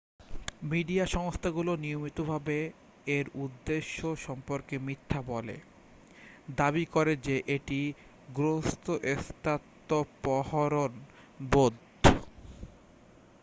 "Media সংস্থাগুলো নিয়মিতভাবে এর উদ্দেশ্য সম্পর্কে মিথ্যা বলে দাবি করে যে এটি "গ্রস্থস্বত্বাপহরণ রোধ""।